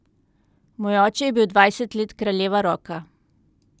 Moj oče je bil dvajset let kraljeva Roka.